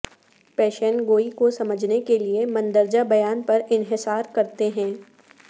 پیشین گوئی کو سمجھنے کے لئے مندرجہ بیان پر انحصار کرتے ہیں